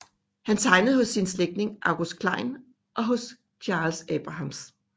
Han tegnede hos sin slægtning August Klein og hos Charles Abrahams